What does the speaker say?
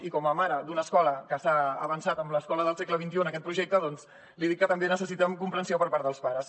i com a mare d’una escola que s’ha avançat en l’escola del segle xxi en aquest projecte li dic que també necessiten comprensió per part dels pares